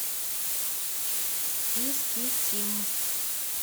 искитим